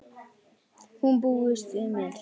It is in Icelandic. Hún búist við mér.